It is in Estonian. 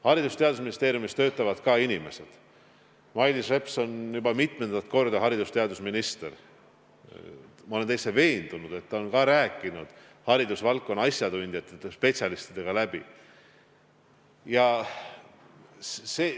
Haridus- ja Teadusministeeriumis töötavad ka inimesed ja kuna Mailis Reps on juba mitmendat korda haridus- ja teadusminister, siis ma olen täitsa veendunud, et ta on haridusvaldkonna asjatundjate ja spetsialistidega kõik läbi rääkinud.